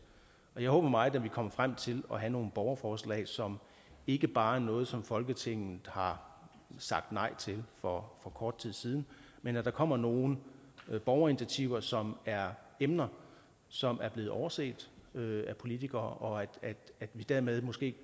jeg håber meget at vi kommer frem til at have nogle borgerforslag som ikke bare er noget som folketinget har sagt nej til for kort tid siden men at der kommer nogle borgerinitiativer som er emner som er blevet overset af politikere og at vi dermed måske